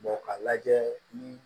k'a lajɛ ni